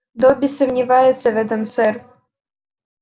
добби сомневается в этом сэр